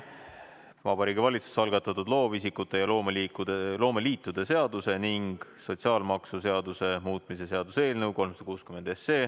Vabariigi Valitsuse algatatud loovisikute ja loomeliitude seaduse ning sotsiaalmaksuseaduse muutmise seaduse eelnõu 360.